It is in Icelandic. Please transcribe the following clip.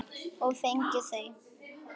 Og fengið þau.